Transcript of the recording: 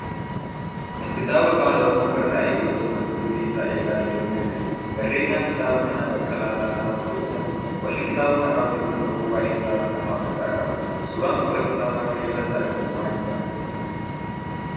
Kun kitaaba Afaan Oromoon barraa'e yoo ta'u, mata dureen isaa 'Eelaa Jireenyaa' jedha. Barreessaan kitaaba kanaa Baqqalaa Lataa Warquu jedhama. Qolli kitaaba kanaa odeeffannoowwan waa'ee kitaaaba kanaa of irraa qaba. Suuraan qola kitaaba kanaa irratti argamu maalidha?